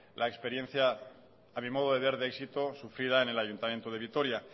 la experiencia a mi modo de ver de éxito sufrida en el ayuntamiento de vitoria